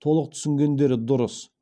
толық түсінгендері дұрыс